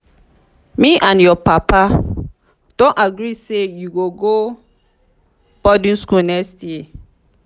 me and your papa don agree say you go go boarding school next year